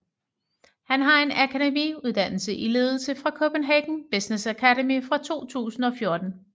Han har en akademiuddannelse i ledelse fra Copenhagen Business Academy fra 2014